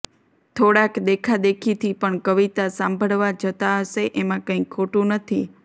થોડાક દેખાદેખીથી પણ કવિતા સાંભળવા જતા હશે એમાં કાંઈ ખોટું નથી